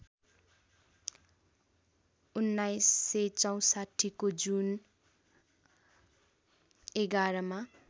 १९६४ को जुन ११ मा